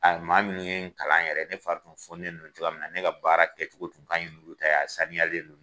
Maa minnu ye kalan yɛrɛ ne fari tun foni nen don cogoya min na ne ka baara kɛ cogo tun kaɲi n'u ta ye a saniyalen don